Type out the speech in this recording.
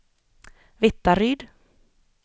Vittaryd